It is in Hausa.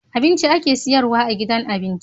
abinci ake siyarwa a gidan abinci